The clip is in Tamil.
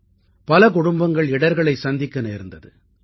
ஆனால் பல குடும்பங்கள் இடர்களைச் சந்திக்க நேர்ந்தது